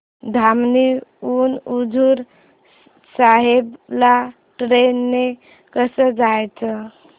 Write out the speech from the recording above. धामणी हून हुजूर साहेब ला ट्रेन ने कसं जायचं